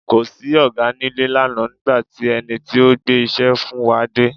Kò sí Ọ̀gá nílé lánàá nígbà tí ẹni tí ó gbé iṣẹ́ fún wa dé.